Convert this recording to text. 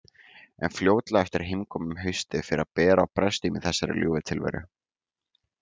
En fljótlega eftir heimkomuna um haustið fer að bera á brestum í þessari ljúfu tilveru.